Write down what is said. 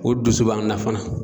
O dusu b'an na fana.